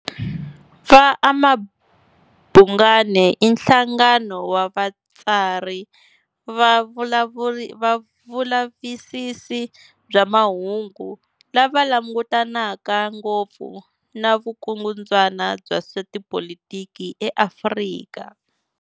Va AmaBhungane i nhlangano wa vatsari va vulavisisi bya mahungu lava langutanaka ngopfu na vukundzwana bya swa tipolitiki eAfrika.